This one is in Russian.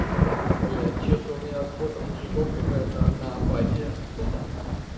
блядь что-то у меня от фото мужиков какая-то одна апатия ха-ха